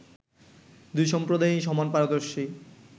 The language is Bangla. দুই সম্প্রদায়ই সমান পারদর্শী